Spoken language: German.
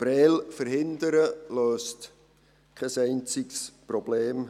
Prêles zu verhindern, löst kein einziges Problem.